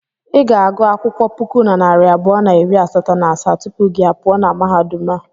I ga-agụ akwụkwọ puku na narị abụọ na iri asatọ na asaa tupu gị a pụọ na mahadum a.